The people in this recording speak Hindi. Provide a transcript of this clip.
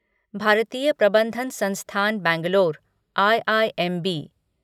भारतीय प्रबंधन संस्थान बैंगलोर आईआईएमबी